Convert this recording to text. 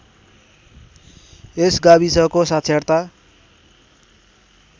यस गाविसको साक्षरता